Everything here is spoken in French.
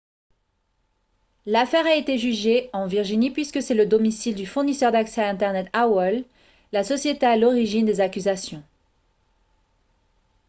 l'affaire a été jugée en virginie puisque c'est le domicile du fournisseur d'accès à internet aol la société à l'origine des accusations